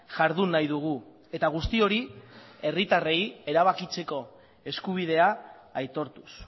jardun nahi dugu eta guzti hori herritarrei erabakitzeko eskubidea aitortuz